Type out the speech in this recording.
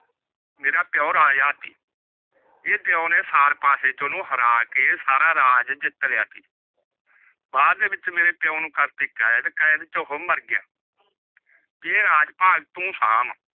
ਮੇਰਾ ਪਿਓ ਰਾਜਾ ਸੀ ਪਿਓ ਨੇ ਸਾਰ ਪਾਸੇ ਚ ਓਹਨੁ ਹਰਾ ਕੇ ਸਾਰਾ ਰਾਜ ਜਿਤ ਲੀਤਾ ਸੀ। ਬਾਅਦ ਵਿਚ ਮੇਰੇ ਪਿਓ ਨੂ ਕਰਤੀ ਕੈਦ, ਕੈਦ ਵਿਚ ਓਹ ਮਰ ਗਯਾ ਇਹ ਰਾਜ ਪਾਠ ਤੂ ਸ਼ਾਮ